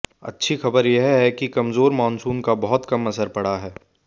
अच्छी खबर यह है कि कमजोर मानसून का बहुत कम असर पड़ा है